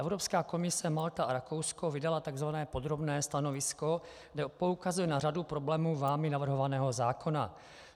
Evropská komise, Malta a Rakousko vydaly tzv. podrobné stanovisko, kde poukazují na řadu problémů vámi navrhovaného zákona.